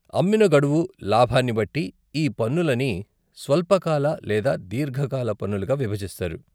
అమ్మిన గడువు, లాభాన్ని బట్టి ఈ పన్నులని స్వల్పకాల లేదా దేర్ఘకాల పన్నులుగా విభజిస్తారు.